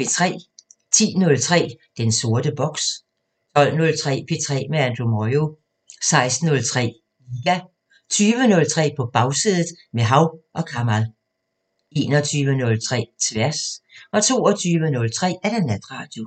10:03: Den sorte boks 12:03: P3 med Andrew Moyo 16:03: Liga 20:03: På Bagsædet – med Hav & Kamal 21:03: Tværs 22:03: Natradio